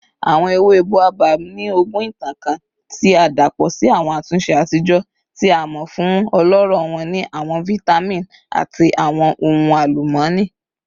Awọn ewe Boabab ni ogún itan kan ti a dapọ si awọn atunṣe atijọ, ti a mọ fun ọlọrọ wọn ni awọn vitamin ati awọn ohun alumọni.